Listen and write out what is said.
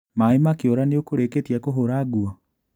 Maĩ makĩũra nĩũkũrĩkĩtie kũhũra nguo?